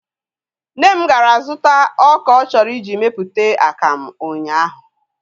Nne m gara zụta ọka ọ chọrọ iji mepụta akamụ ụnyaahụ